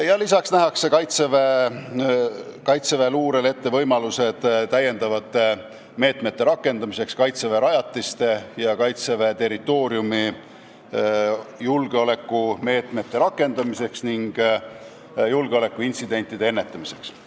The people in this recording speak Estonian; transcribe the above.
Peale selle nähakse kaitseväeluurele ette lisameetmete võimalused, et Kaitseväe rajatistes ja Kaitseväe territooriumil julgeolekumeetmeid võtta ning julgeolekuintsidente ennetada.